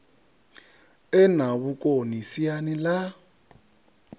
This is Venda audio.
e na vhukoni siani ḽa